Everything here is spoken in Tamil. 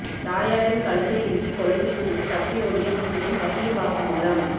தாயாரின் கழுத்தை இறுக்கி கொலை செய்து விட்டு தப்பி ஓடிய மகனின் பகீர் வாக்குமூலம்